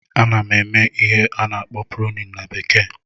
Ana m eme ihe a na-akpọ "pruning"na bekee